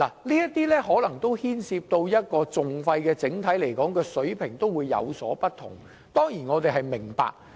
這些訴訟牽涉的訟費的整體水平有所不同，這點我們當然明白。